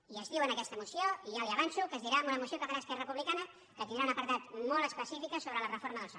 i es diu en aquesta moció i ja li avanço que es dirà en una moció que farà esquerra republicana que tindrà un apartat molt específic sobre la reforma del soc